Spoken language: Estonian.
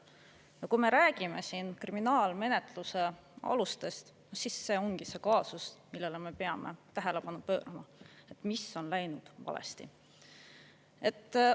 Ja kui me räägime siin kriminaalmenetluse alustest, siis see ongi see kaasus, millele me peame tähelepanu pöörama: mis on läinud valesti?